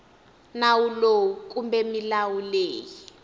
nawu lowu kumbe milawu leyi